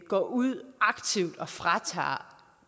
går ud og fratager